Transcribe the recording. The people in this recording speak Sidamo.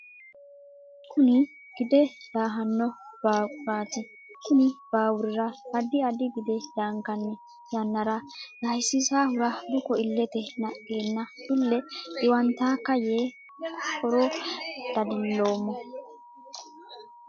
Kunni gide daahano baaquraati konni baawurira addi addi gide daankanni yannara daahisisaahura buko ilete naqeenna ile xiwantaka yee horo dadiloomo.